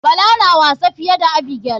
Bala na wasa fiye da abigail.